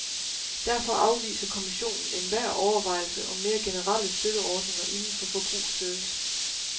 Derfor afviser kommissionen enhver overvejelse om mere generelle støtteordninger inden for forbrugsservice.